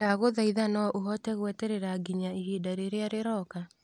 ndagũthaitha no ũhote gweterera nginya ihinda rĩrĩa rĩroka.